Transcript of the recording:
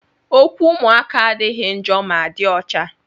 Okwu ụmụaka adịghị njọ ma dị ọcha.